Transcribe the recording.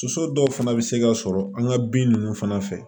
Soso dɔw fana bɛ se ka sɔrɔ an ka bin ninnu fana fɛ